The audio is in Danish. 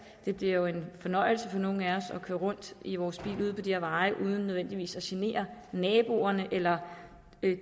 det bliver jo en fornøjelse for nogle af os at køre rundt i vores bil ude på de her veje uden nødvendigvis at genere naboerne eller